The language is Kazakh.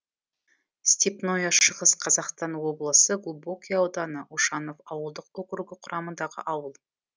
степное шығыс қазақстан облысы глубокое ауданы ушанов ауылдық округі құрамындағы ауыл